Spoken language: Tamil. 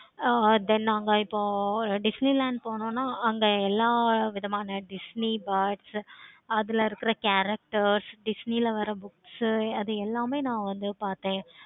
ஆஹ் then அங்க இப்போ disney land போணும்னா அங்க எல்லா விதமான disney parts அதுல இருக்குற characters disney ல வர books உ அது எல்லாமே நா வந்து பார்த்தேன்.